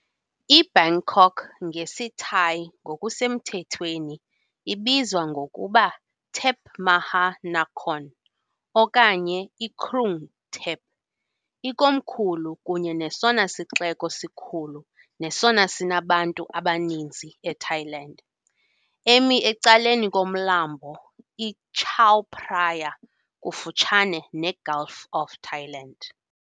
IBangkok, ngesiThai ngokusemthethweni ibizwa ngokuba Thep Maha Nakhon okanye iKrung Thep ikomkhulu kunye nesona sixeko sikhulu nesona sinabantu abaninzi eThailand, emi ecaleni koMlambo iChao Phraya, kufutshane neGulf of Thailand .